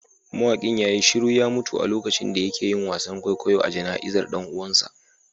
Mawakin ya yi shiru ya mutu a lokacin da yake yin wasan kwaikwayo a jana'izar dan uwansa